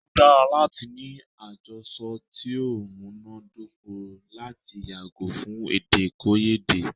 O dára láti ní àjọsọ ti o múná dóko lati yàgò fún èdèkòyédè.